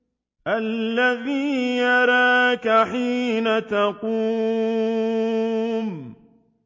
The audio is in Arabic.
الَّذِي يَرَاكَ حِينَ تَقُومُ